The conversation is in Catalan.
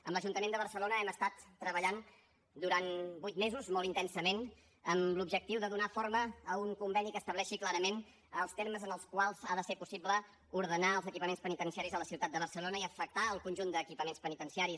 amb l’ajuntament de barcelona hem estat treballant durant vuit mesos molt intensament amb l’objectiu de donar forma a un conveni que estableixi clarament els termes en els quals ha de ser possible ordenar els equipaments penitenciaris a la ciutat de barcelona i afectar el conjunt d’equipaments penitenciaris